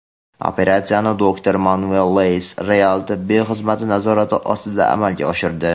"Operatsiyani doktor Manuel Leyes "Real" tibbiy xizmati nazorati ostida amalga oshirdi.